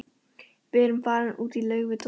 Við erum farin út í laug við Doddi.